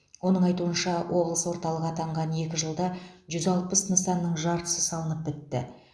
оның айтуынша облыс орталығы атанған екі жылда жүз алпыс нысанның жартысы салынып бітті